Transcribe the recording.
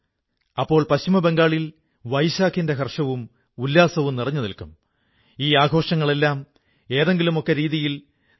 നമ്മുടെ രാജ്യത്തിന്റെയും സംസ്കാരത്തിന്റെയും വെവ്വേറെ തലങ്ങളെക്കുറിച്ചും നിങ്ങളോടൊക്കെ സംസാരിക്കാൻ അവസരം ലഭിച്ചു